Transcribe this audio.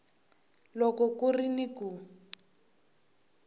loko ku ri ni ku